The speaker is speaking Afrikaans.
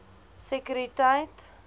sekuriteit